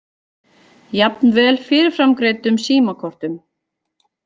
Jafnvel fyrirframgreiddum símakortum.